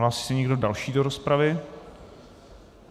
Hlásí se někdo další do rozpravy?